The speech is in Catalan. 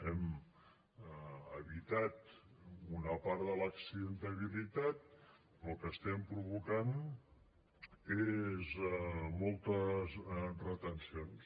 hem evitat una part de l’accidentalitat però el que estem provocant són moltes retencions